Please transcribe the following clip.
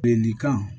Ni kan